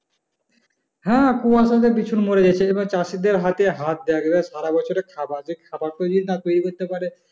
হ্যা কুয়াশাতে বিছু মরে গেছে যেগুল চাষিদের হাতে হাত যায় সারাবছরে খাবার পেয়ে না পেয়ে মরতে পারে